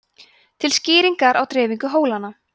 til skýringar á dreifingu hólanna